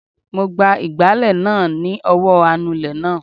Mo gba ìgbálẹ̀ náà ni ọwọ́ anulẹ̀ náà